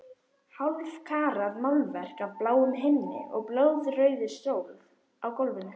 Hálfkarað málverk af bláum himni og blóðrauðri sól á gólfinu.